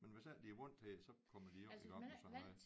Men hvis ikke de er vant til det så kommer de jo ikke op på så meget